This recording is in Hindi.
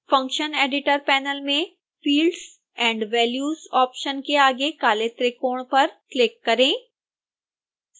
function editor पैनल में fields and values ऑप्शन के आगे काले त्रिकोण पर क्लिक करें